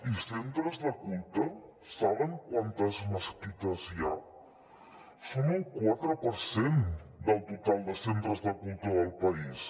i centres de culte saben quantes mesquites hi ha són el quatre per cent del total de centres de culte del país